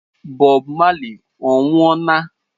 Bob Marley ọ nwuọ na?